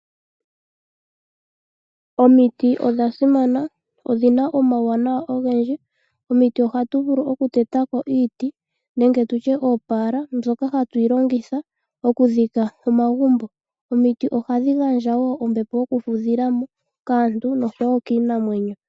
Omiti odha simana, odhina omauwanawa ogendji. Komiti ohatu vulu okuteta ko iiti nenge oopaala, mbyoka hayi longithwa okudhika omagumbo. Omiti ohadhi gandja wo ombepo yokufudha kaantu nokiinamwenyo.